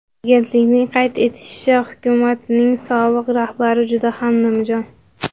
Agentlikning qayd etishicha, hukumatning sobiq rahbari juda ham nimjon.